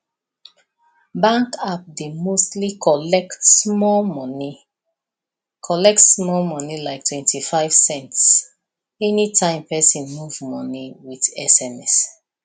bank app dey mostly collect small money collect small money like twenty five cents anytime person move money with sms